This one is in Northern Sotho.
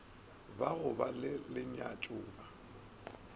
ba go ba le lenyatšoba